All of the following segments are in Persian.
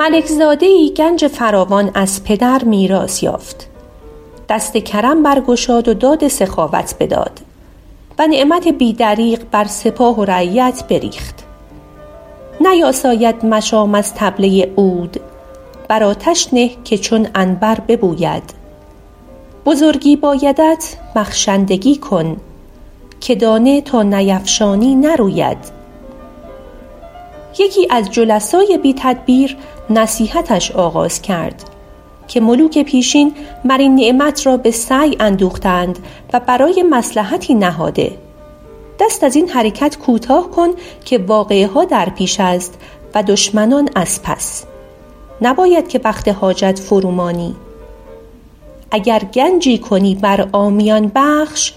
ملک زاده ای گنج فراوان از پدر میراث یافت دست کرم برگشاد و داد سخاوت بداد و نعمت بی دریغ بر سپاه و رعیت بریخت نیاساید مشام از طبله عود بر آتش نه که چون عنبر ببوید بزرگی بایدت بخشندگی کن که دانه تا نیفشانی نروید یکی از جلسای بی تدبیر نصیحتش آغاز کرد که ملوک پیشین مر این نعمت را به سعی اندوخته اند و برای مصلحتی نهاده دست از این حرکت کوتاه کن که واقعه ها در پیش است و دشمنان از پس نباید که وقت حاجت فرو مانی اگر گنجی کنی بر عامیان بخش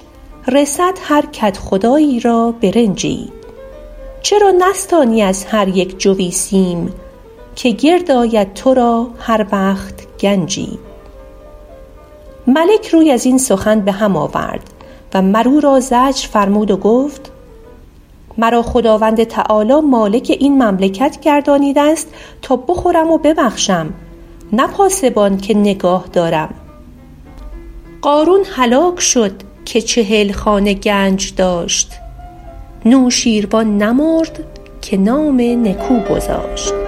رسد هر کدخدایی را برنجی چرا نستانی از هر یک جوی سیم که گرد آید تو را هر وقت گنجی ملک روی از این سخن به هم آورد و مر او را زجر فرمود و گفت مرا خداوند تعالیٰ مالک این مملکت گردانیده است تا بخورم و ببخشم نه پاسبان که نگاه دارم قارون هلاک شد که چهل خانه گنج داشت نوشین روان نمرد که نام نکو گذاشت